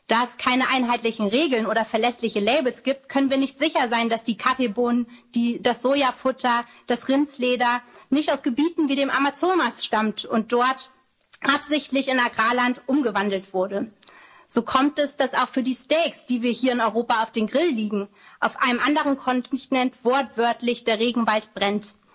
Da es keine einheitlichen Regeln oder verlässliche Labels gibt, können wir nicht sicher sein, dass die Kaffeebohnen, das Sojafutter, das Rindsleder nicht aus Gebieten wie dem Amazonas stammen, die dort absichtlich in Agrarland umgewandelt wurden. So kommt es, dass auch für die Steaks, die wir hier in Europa auf den Grill legen, auf einem anderen Kontinent wortwörtlich der Regenwald brennt.